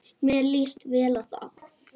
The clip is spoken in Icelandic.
Mér líst vel á það.